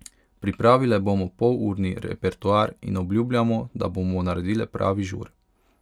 Pripravile bomo polurni repertoar in obljubljamo, da bomo naredile pravi žur.